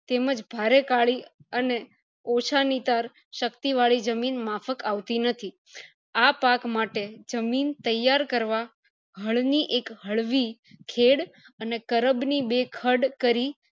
તેમજ ભારે કાળી અને ઓછા નીતર શક્તિ વળી જમીન માફક આવતી નથી આ પાક માટે જમીન તૈયાર કરવા હળ ની એક હળવી ખેડ અને કરબ ની બે ખદ કરી